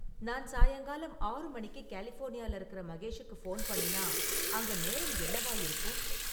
நான் சாயங்காலம் ஆறு மணிக்கு கலிஃபோர்னியாவில இருக்கிற மகேஷுக்கு ஃபோன் பண்ணினா அங்க நேரம் என்னவா இருக்கும்?